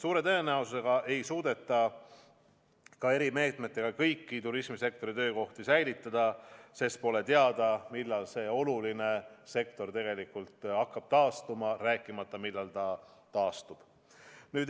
Suure tõenäosusega ei suudeta ka erimeetmetega kõiki turismisektori töökohti säilitada, sest pole teada, millal see oluline sektor tegelikult hakkab taastuma, rääkimata sellest, millal ta täiesti taastub.